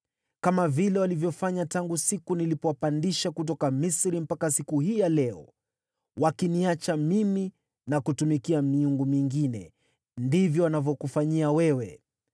Kama vile walivyofanya tangu siku nilipowapandisha kutoka Misri mpaka siku hii ya leo; wakiniacha mimi na kutumikia miungu mingine, ndivyo wanavyokufanyia wewe.